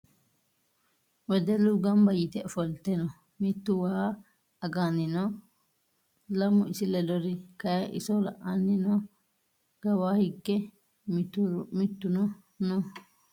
Wedellu gamba yite ofolte no. Mittu was aganni noo. Lamu isi ledori kayii iso la'anni noo. Kawaa hige mittuno no